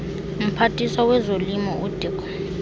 mphathiswa wezolimo udirk